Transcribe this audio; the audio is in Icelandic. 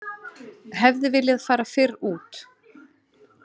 Hefði viljað fara fyrr út